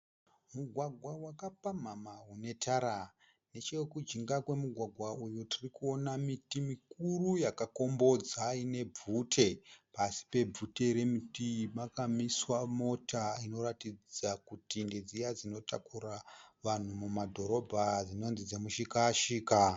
Mugwagwa wakapamhamha unetara. Nechekujinga kwemugwagwa tirikuona miti mikuru yakakombodza ine bvute. Pasi pebvute remiti iyi pakamiswa mota inoratidza kuti ndedziya dzinotakura vanhu mudhorobha dzinonzi dzemushika shika.